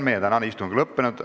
Meie tänane istung on lõppenud.